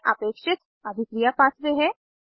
यह अपेक्षित अभिक्रिया पाथवे है